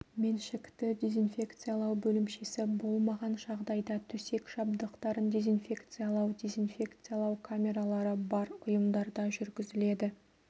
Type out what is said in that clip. меншікті дезинфекциялау бөлімшесі болмаған жағдайда төсек жабдықтарын дезинфекциялау дезинфекциялау камералары бар ұйымдарда жүргізіледі